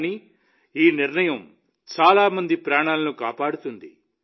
కానీ ఈ నిర్ణయం చాలా మంది ప్రాణాలను కాపాడుతుంది